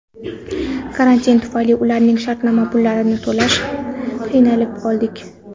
Karantin tufayli ularning shartnoma pullarini to‘lashda qiynalib qoldik.